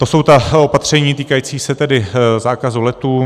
To jsou ta opatření týkající se tedy zákazu letů.